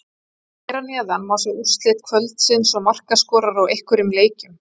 Hér að neðan má sjá úrslit kvöldsins og markaskorara úr einhverjum leikjum.